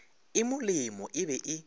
e molemo e be e